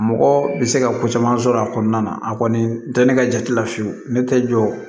Mɔgɔ bɛ se ka ko caman sɔrɔ a kɔnɔna na a kɔni tɛ ne ka jate la fiyewu ne tɛ jɔ